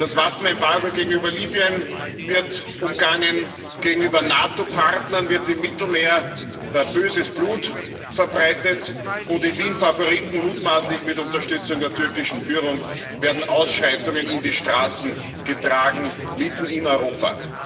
Das Waffenembargo gegenüber Libyen wird umgangen, gegenüber NATO Partnern wird im Mittelmeer böses Blut verbreitet, und in Wien Favoriten, mutmaßlich mit Unterstützung der türkischen Führung, werden Ausschreitungen in die Straßen getragen mitten in Europa.